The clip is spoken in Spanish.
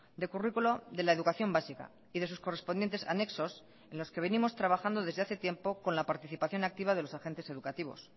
de currículo de la educación básica y de sus correspondientes anexos en los que venimos trabajando desde hace tiempo con la participación activa de los agentes educativos